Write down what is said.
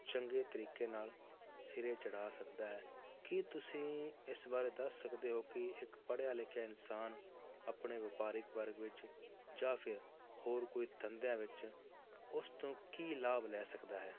ਚੰਗੇ ਤਰੀਕੇ ਨਾਲ ਸਿਰੇ ਚੜ੍ਹਾ ਸਕਦਾ ਹੈ, ਕੀ ਤੁਸੀਂ ਇਸ ਬਾਰੇ ਦੱਸ ਸਕਦੇ ਹੋ ਕਿ ਇੱਕ ਪੜ੍ਹਿਆ ਲਿਖਿਆ ਇਨਸਾਨ ਆਪਣੇ ਵਪਾਰਿਕ ਵਰਗ ਵਿੱਚ ਜਾਂ ਫਿਰ ਹੋਰ ਕੋਈ ਧੰਦਿਆਂ ਵਿੱਚ ਉਸ ਤੋਂ ਕੀ ਲਾਭ ਲੈ ਸਕਦਾ ਹੈ।